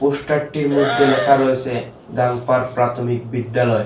পোস্টটির মইদ্যে লেখা রয়েসে গাঙ্গপার প্রাথমিক বিদ্যালয়।